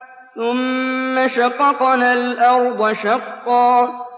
ثُمَّ شَقَقْنَا الْأَرْضَ شَقًّا